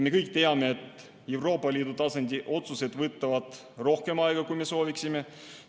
Me kõik teame, et Euroopa Liidu tasandi otsused võtavad rohkem aega, kui me sooviksime.